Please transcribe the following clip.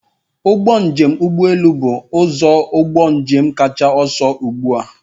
Ụgbọ njem ụgbọ elu bụ ụzọ ụgbọ njem kacha ọsọ ugbu a.